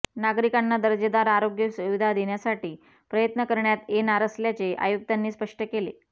नागरिकांना दर्जेदार आरोग्य सुविधा देण्यासाठी प्रयत्न करण्यात येणार असल्याचे आयुक्तांनी स्पष्ट केले